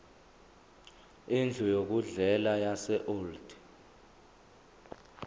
indlu yokudlela yaseold